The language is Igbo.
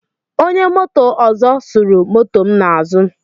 Onye moto ọzọ suru moto m n'azụ.